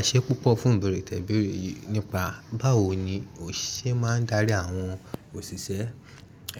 Ẹ̀ṣẹ́ púpọ̀ fún ìbẹ̀rẹ̀ tẹ̀bẹ̀rẹ̀ yìí nípa báwo ni mo ṣe máa ń darí àwọn òṣìṣẹ́